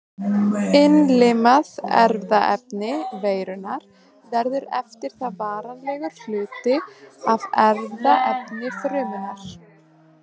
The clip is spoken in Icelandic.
Innlimað erfðaefni veirunnar verður eftir það varanlegur hluti af erfðaefni frumunnar.